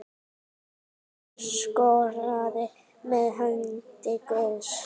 Hver skoraði með hendi guðs?